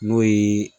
N'o ye